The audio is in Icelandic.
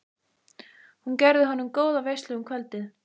Hún gerði honum góða veislu um kvöldið.